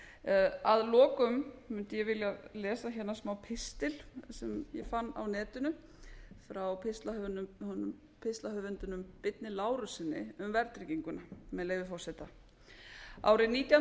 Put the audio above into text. lánveitandann að lokum fundið ég vilja lesa hérna smápistil sem ég fann á netinu frá pistlahöfundinum birni lárussyni um verðtrygginguna árið nítján hundruð áttatíu